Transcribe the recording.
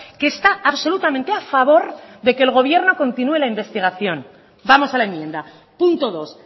que está absolutamente a favor de que el gobierno continúe la investigación vamos a la enmienda punto dos